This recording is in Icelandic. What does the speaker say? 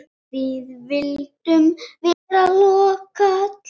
Við vildum vera lókal.